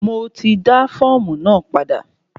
Mo ti dá fọ́ọ̀mù náà padà.